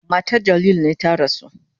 Matan Jalil ne ta rasu.